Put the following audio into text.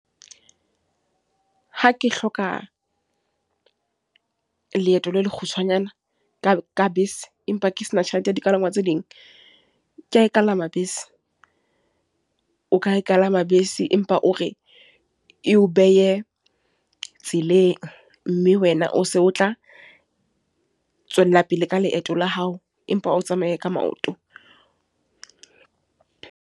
Ha ke hloka leeto la lekgutshwanyane, ka ka bese. Empa ke sena tjhelete ya dipalangwang tse ding. Ke a e palama bese, o ka e palama bese, empa o re e o behe tseleng. Mme wena o se o tla tswella pele ka leeto la hao. Empa o tsamaye ka maoto.